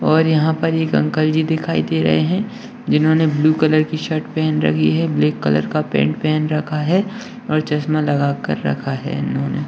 और यहां पर एक अंकल जी दिखाई दे रहे हैं जिन्होंने ब्लू कलर की शर्ट पहन रखी है ब्लैक कलर का पॅन्ट पहन रखा है और चश्मा लगाकर रखा है इन्होंने।